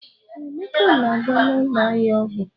Ee, Emeka na-aga n'ụlọ ahịa ọgwụ.